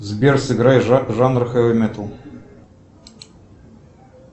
сбер сыграй жанр хеви метал